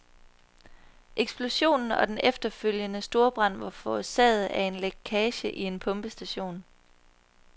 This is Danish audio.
Eksplosionen og den efterfølgende storbrand var forårsaget af en lækage i en pumpestation.